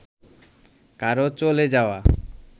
কারও চলে যাওয়া